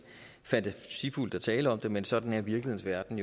fantasifuldt at tale om det men sådan er virkelighedens verden